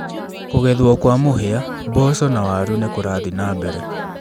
Kũgethwo kwa mũhĩa, mboco na waru nĩ kũrathiĩ na mbere.